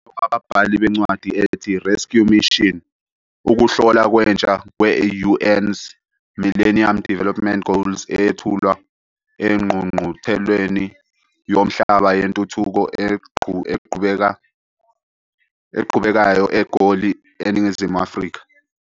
Wababhali bencwadi ethi, 'Rescue Mission', ukuhlola kwentsha kwe-UN's Millennium Development Goals eyethulwa eNgqungqutheleni Yomhlaba Yentuthuko Eqhubekayo eGoli eNingizimu Afrika.